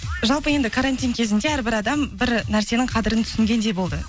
жалпы енді карантин кезінде әрбір адам бір нәрсенің қадірін түсінгендей болды